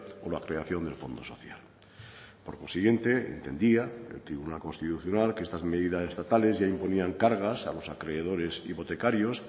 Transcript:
o la creación del fondo social por consiguiente entendía el tribunal constitucional que estas medidas estatales ya imponían cargas a los acreedores hipotecarios